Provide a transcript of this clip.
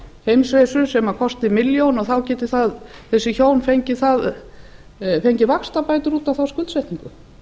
nefndi heimsreisu sem kosti milljón og þá geta þessi hjón fengið vaxtabætur út á þá skuldsetningu